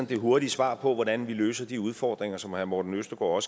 det hurtige svar på hvordan vi løser de udfordringer som herre morten østergaard